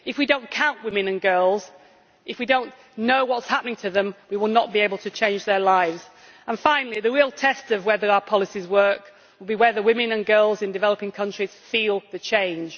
If we do not count women and girls, if we do not know what is happening to them, we will not be able to change their lives. The real test of whether our policies work will be whether women and girls in developing countries feel the change.